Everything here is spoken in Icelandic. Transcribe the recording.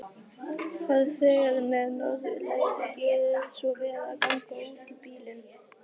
Farþegar með Norðurleið, gjörið svo vel að ganga útí bílinn.